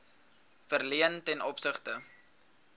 verleen ten opsigte